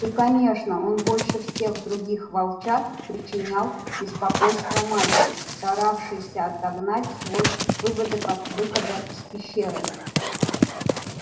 и конечно он больше всех других волчат причинял беспокойство матери старавшейся отогнать свой выводок от выхода из пещеры